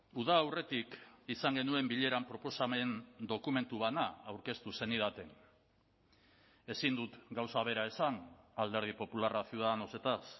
uda aurretik izan genuen bileran proposamen dokumentu bana aurkeztu zenidaten ezin dut gauza bera esan alderdi popularra ciudadanosetaz